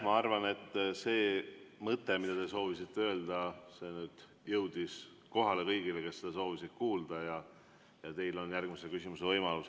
Ma arvan, et see mõte, mida te soovisite öelda, nüüd jõudis kohale kõigile, kes seda soovisid kuulda, ja teil on järgmise küsimuse võimalus.